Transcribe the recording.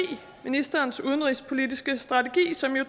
ministerens udenrigspolitiske strategi som jo